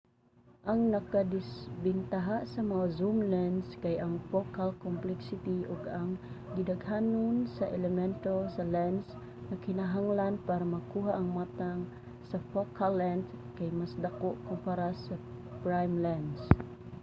ang nakadisbentaha sa mga zoom lens kay ang focal complexity ug ang gidaghanon sa elemento sa lens nga kinahanglan para makuha ang matang sa focal length kay mas dako kumpara sa mga prime lens